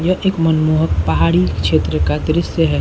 यह एक मनमोहक पहाड़ी क्षेत्र का दृश्य है।